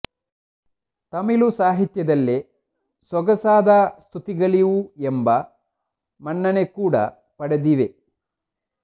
ತಮಿಳು ಸಾಹಿತ್ಯದಲ್ಲೇ ಸೊಗಸಾದ ಸ್ತುತಿಗಳಿವು ಎಂಬ ಮನ್ನಣೆ ಕೂಡ ಪಡೆದಿವೆ